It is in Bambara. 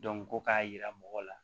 ko k'a yira mɔgɔw la